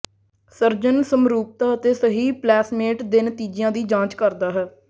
surgeon ਸਮਰੂਪਤਾ ਅਤੇ ਸਹੀ ਪਲੇਸਮੈਂਟ ਦੇ ਨਤੀਜਿਆਂ ਦੀ ਜਾਂਚ ਕਰਦਾ ਹੈ